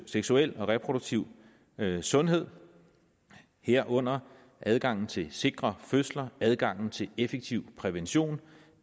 seksuel og reproduktiv sundhed herunder adgangen til sikre fødsler og adgangen til effektiv prævention